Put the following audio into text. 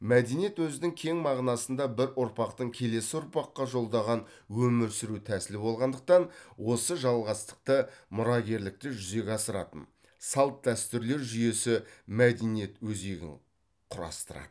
мәдениет өзінің кең мағынасыңда бір ұрпақтың келесі ұрпаққа жолдаған өмір сүру тәсілі болғандықтан осы жалғастықты мұрагерлікті жүзеге асыратын салт дәстүрлер жүйесі мәдениет өзегін құрастырады